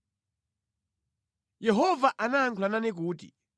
Yehova anayankhula nane kuti,